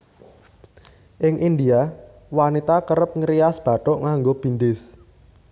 Ing India wanita kerep ngrias bathuk nganggo bindis